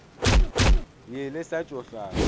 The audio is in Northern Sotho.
ye le sa tšo hlaba